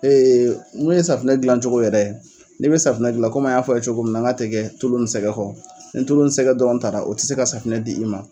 Ee mun ye safunɛ gilan cogo yɛrɛ, ni be safunɛ gilan an y'a fɔ a ye cogo min na n k'a tɛ kɛ tulu ni sɛgɛ kɔ .Ni tulu ni sɛgɛ dɔrɔn taala , o te se ka safunɛ d'i ma.